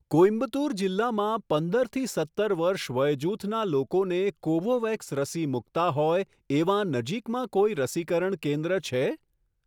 કોઇમ્બતુર જિલ્લામાં પંદરથી સત્તર વર્ષ વયજૂથના લોકોને કોવોવેક્સ રસી મૂકતા હોય એવાં નજીકમાં કોઈ રસીકરણ કેન્દ્ર છે?